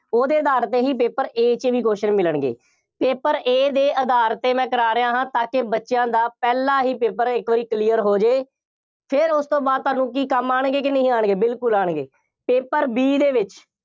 ਉਹਦੇ ਆਧਾਰ ਤੇ ਹੀ paper A ਚ ਵੀ question ਮਿਲਣਗੇ। paper A ਦੇ ਆਧਾਰ ਤੇ ਮੈਂ ਕਰਾਂ ਰਿਹਾ ਹਾਂ ਤਾਂ ਕਿ ਬੱਚਿਆ ਦਾ ਪਹਿਲਾ ਹੀ paper ਇੱਕ ਵਾਰੀ clear ਹੋ ਜਾਏ। ਫੇਰ ਉਸ ਤੋਂ ਬਾਅਦ ਤੁਹਾਨੂੰ ਕੀ ਕੰਮ ਆਉਣਗੇ ਕਿ ਨਹੀਂ ਆਉਣਗੇ, ਬਿਲਕੁੱਲ ਆਉਣਗੇ, paper B ਦੇ ਵਿੱਚ,